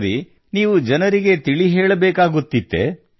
ಸರಿ ನೀವು ಜನರಿಗೆ ತಿಳಿ ಹೇಳಬೇಕಾಗುತ್ತಿತ್ತೇ